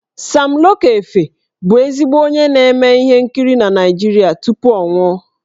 Sam Loco Efe bụ ezigbo onye na-eme ihe nkiri na Naịjirịa tupu ọ nwụọ.